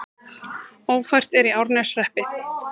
Ófært er í Árneshreppi